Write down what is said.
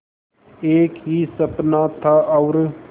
एक ही सपना था और